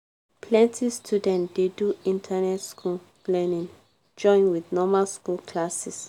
plenti student dey do internet school learning join with normal school classes.